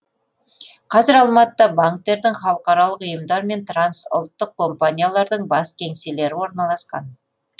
қазір алматыда банктердің халықаралық ұйымдар мен трансұлттық компаниялардың бас кеңселері орналасқан